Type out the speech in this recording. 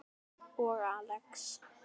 Og Axel.